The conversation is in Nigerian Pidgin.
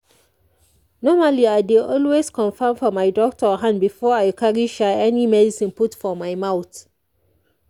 normally i dey always confirm for my doctor hand before i carry sha any medicine put for my mouth